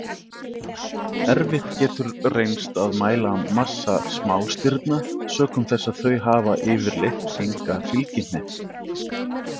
Erfitt getur reynst að mæla massa smástirna sökum þess að þau hafa yfirleitt enga fylgihnetti.